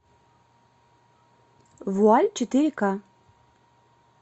вуаль четыре ка